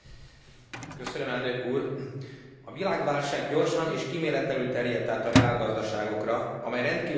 A világválság gyorsan és kíméletlenül terjedt át a reálgazdaságokra, amely rendkívül nagy hatást gyakorolt a foglalkoztatásra.